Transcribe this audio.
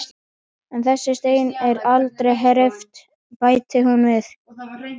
En þessi steinn er aldrei hreyfður, bætir hún svo við.